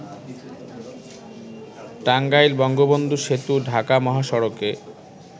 টাঙ্গাইল-বঙ্গবন্ধু সেতু-ঢাকা মহাসড়কে